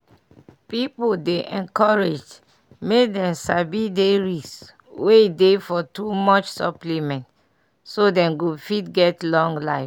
pipu dey encouraged make dem sabi dey risk wey dey for too much supplement so dem go fit get long life.